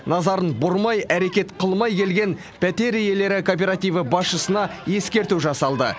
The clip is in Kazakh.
назарын бұрмай әрекет қылмай келген пәтер иелері кооперативі басшысына ескерту жасалды